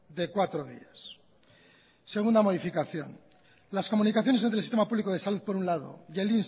de cuatro días segunda modificación las comunicaciones del sistema público de salud por un lado y el